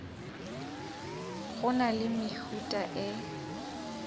go na le mehuta e